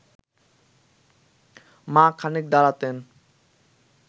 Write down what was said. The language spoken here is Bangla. মা খানিক দাঁড়াতেন